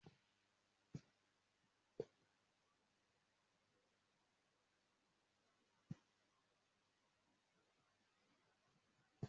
Mo máa lọ kọ́ṣẹ́ káfíntà.